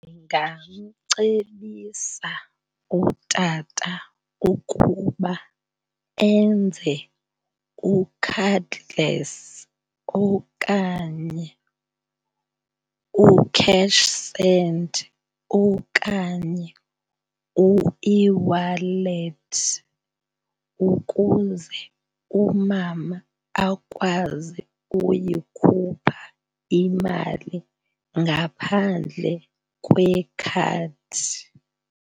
Ndingamcebisa utata ukuba enze u-cardless okanye uCashSend okanye ueWallet ukuze umama akwazi uyikhupha imali ngaphandle kwekhadi.